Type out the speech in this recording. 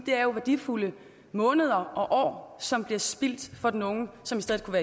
det er jo værdifulde måneder og år som bliver spildt for den unge som